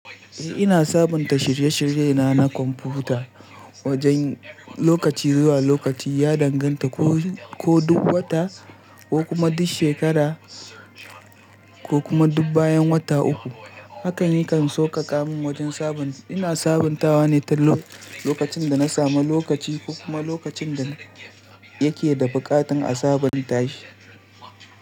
Eh ina sabunta shirye-shirye na na kwamfuta wajen lokaci zuwa lokaci ya danganta ko duk wata ko kuma duk shekara ko kuma duk bayan wata uku. Hakan yakan sauƙaƙa min wajen sabunta. Ina sabuntawa ne ta lokacin da na sami lokaci ko kuma lokacin da yake da buƙatar a sabunta shi.